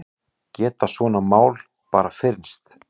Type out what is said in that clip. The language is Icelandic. Geta svona mál bara fyrnst?